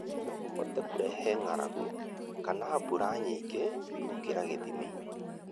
no kũhote kũrehe ng'aragu kana mbura nyingĩ gũkĩra gĩthimi,